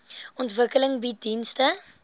ontwikkeling bied dienste